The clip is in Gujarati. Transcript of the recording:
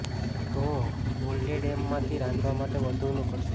તે મોલ્ડેડ હેમ માંથી રાંધવા માટે વધુ અનુકૂળ છે